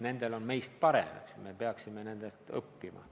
Nende tase on meie omast parem, me peaksime nendelt õppima.